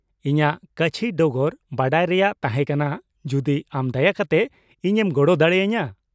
ᱤᱧᱟᱹᱜ ᱠᱟᱪᱷᱤ ᱰᱚᱜᱚᱨ ᱵᱟᱰᱟᱭ ᱨᱮᱭᱟᱜ ᱛᱟᱦᱮᱸ ᱠᱟᱱᱟ ᱡᱩᱫᱤ ᱟᱢ ᱫᱟᱭᱟ ᱠᱟᱛᱮ ᱤᱧᱮᱢ ᱜᱚᱲᱚ ᱫᱟᱲᱮ ᱟᱹᱧᱟᱹ ᱾